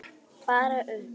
Bara upp!